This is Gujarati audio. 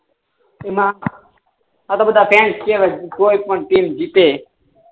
એમાં આ તો બધા ગેમ જ કેહવાય ને કોઈ પણ ટીમ જીતે